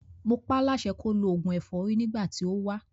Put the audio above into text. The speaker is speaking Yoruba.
Mo pá láṣẹ kó lo òògùn ẹ̀fọ́rí nígbà tí ó wá.